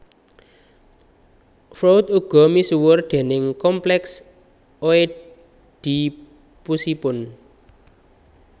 Freud uga misuwur déning kompleks Oedipusipun